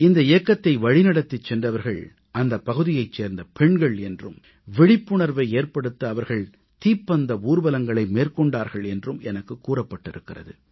இந்த இயக்கத்தை வழிநடத்திச் சென்றவர்கள் அந்தப் பகுதியைச் சேர்ந்த பெண்கள் என்றும் விழிப்புணர்வை ஏற்படுத்த அவர்கள் தீப்பந்த ஊர்வலங்களை மேற்கொண்டார்கள் என்றும் எனக்கு கூறப்பட்டிருக்கிறது